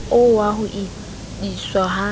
oo wa ho iswa ha